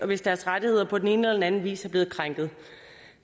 hvis deres rettigheder på den ene eller anden vis er blevet krænket